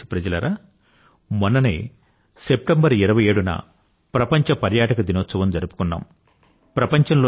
నా ప్రియమైన దేశప్రజలారా మొన్ననే సెప్టెంబర్ 27న ప్రపంచ పర్యాటక దినోత్సవం జరుపుకున్నాం